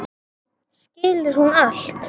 Skilur hún allt?